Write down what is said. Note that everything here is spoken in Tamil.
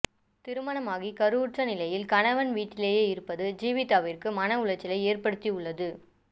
திருமணமாகி கருவுற்ற நிலையில் கணவன் வீட்டிலேயே இருப்பது ஜீவிதாவிற்கு மனஉளைச்சலை ஏற்படுத்தியுள்ளது